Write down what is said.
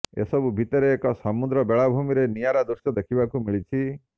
ଏସବୁ ଭିତରେ ଏକ ସମୁଦ୍ର ବେଳାଭୂମିରେ ନିଆରା ଦୃଶ୍ୟ ଦେଖିବାକୁ ମିଳିଛି